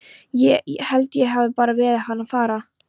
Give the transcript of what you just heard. Ég. held ég hafi bara beðið hann að fara.